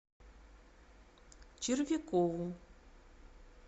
червякову